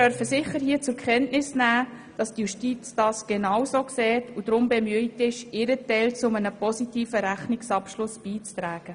Wir dürfen zur Kenntnis nehmen, dass die Justiz dies genauso sieht und deshalb bemüht ist, ihren Teil zu einem positiven Rechnungsabschluss beizutragen.